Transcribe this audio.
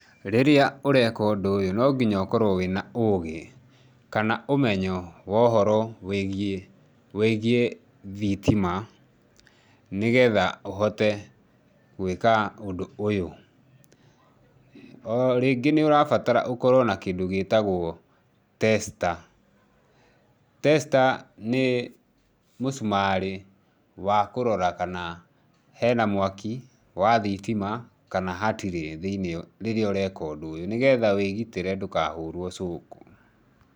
Rĩrĩa ũreka ũndũ ũyũ no gĩnya ũkorwo wĩna ũgĩ, kana ũmenyo wa ũhoro wĩgiĩ thitima nĩgetha ũhote gwĩka ũndũ ũyũ. O rĩngĩ nĩ ũrabatara ũkorwo na kĩndũ gĩtagwo tester, tester ni mũcumarĩ wa kũrora kana hena mwakĩ wa thitima kana hatirĩ rĩrĩa ũreka ũndũ ũyũ nĩgetha wĩgĩtĩre ndũkahũrwo cooku